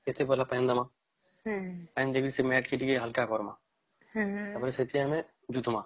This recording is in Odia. ଏଠି ଭଲ time ଦେଲ ହୁଁ ହାଲକ କରମା ହୁଁ ହୁଁ ତାପରେ ସେଠୀ ଆମେ